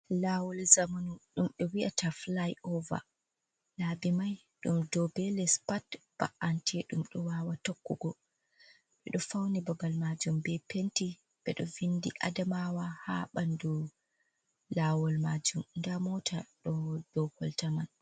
"Lawol" zamanu ɗum be wi'ata filai ova labi mai ɗum dou be les pat ba’ante ɗum ɗo wawa tokkugo ɓeɗo fauni ɓongal majum ɓe penti ɓeɗo vindi Adamawa ha ɓandu lawol majum nda moota ɗo ɗou kolta man.